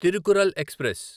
Tirukkural express